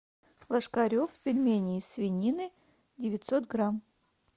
ложкарев пельмени из свинины девятьсот грамм